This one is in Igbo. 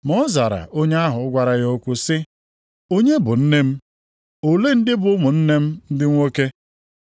Ma ọ zara onye ahụ gwara ya okwu sị, “Onye bụ nne m? Olee ndị bụ ụmụnne m ndị nwoke?”